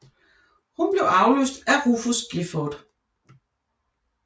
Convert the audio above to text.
Hun blev afløst af Rufus Gifford